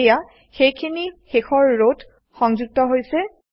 এয়া সেইখিনি শেষৰ ৰ ত সংযুক্ত হৈছে